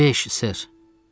Beş, ser.